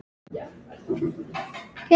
Ekki neitt